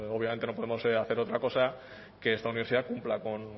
obviamente no podemos hacer otra cosa que esta universidad cumpla con